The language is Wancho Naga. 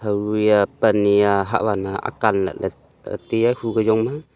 ebuya pan hia hah wan ana akan lahley tai a hu ke jong ma.